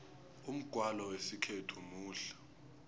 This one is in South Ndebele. umgwalo wesikhethu muhle